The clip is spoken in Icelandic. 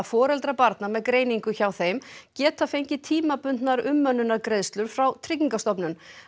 foreldrar barna með greiningu hjá þeim geta fengið tímabundnar umönnunargreiðslur frá Tryggingastofnun